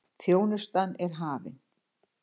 Þjónustan er hafin.